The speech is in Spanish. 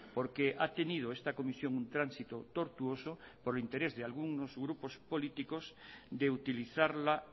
porque ha tenido esta comisión un tránsito tortuoso por interés de algunos grupos políticos de utilizarla